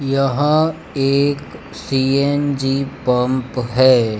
यह एक CNG pump है।